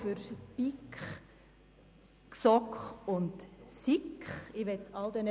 Die Würfel bei BiK, GSoK und SiK sind gefallen.